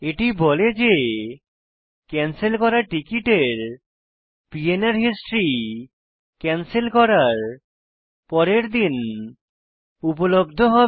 এটি বলে যে ক্যানসেল করা টিকিটের পিএনআর হিস্ট্রি ক্যানসেল করার পরের দিন উপলব্ধ হবে